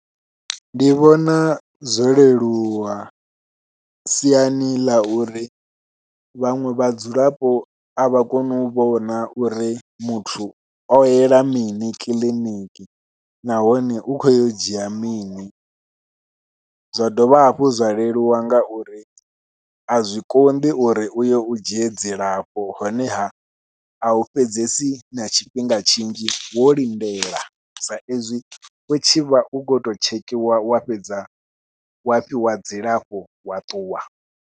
Ndi vhona zwo leluwa siani ḽa uri vhaṅwe vhadzulapo a vha koni u vhona uri muthu o yela mini kiḽiniki nahone u khou ya u dzhia mini, zwa dovha hafhu zwa leluwa ngauri a zwi konḓi uri uyo u dzhie dzilafho honeha au fhedzesi na tshifhinga tshinzhi wo lindela sa izwi u tshi vha u khou to tshekhiwa wa fhedza wa fhiwa dzilafho wa ṱuwa.